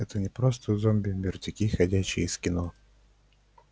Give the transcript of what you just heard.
это не просто зомби мертвяки ходячие из кино